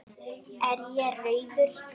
Er ég rauður?